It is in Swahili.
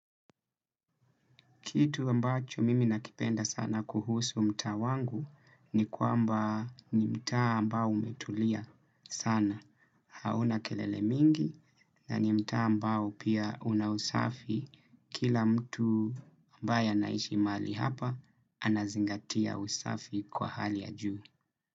Kitu ambacho mimi nakipenda sana kuhusu mtaa wangu ni kwamba ni mtaa ambao umetulia sana. Hauna kelele mingi na ni mtaa ambao pia una usafi kila mtu ambae anaishi mahali hapa anazingatia usafi kwa hali ya juu.